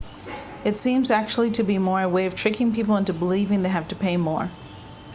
it seems actually to be more a way of tricking people into believing they have to pay more